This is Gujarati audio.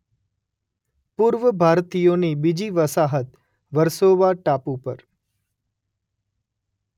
પૂર્વ ભારતીયોની બીજી વસાહત વર્સોવા ટાપુ પર